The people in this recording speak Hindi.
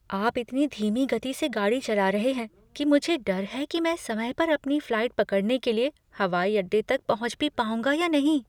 आप इतनी धीमी गति से गाड़ी चला रहे हैं कि मुझे डर है कि मैं समय पर अपनी फ्लाइट पकड़ने के लिए हवाई अड्डे तक पहुँच भी पाऊँगा या नहीं।